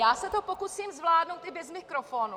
Já se to pokusím zvládnout i bez mikrofonu.